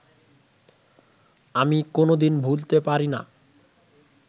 আমি কোনদিন ভুলতে পারি না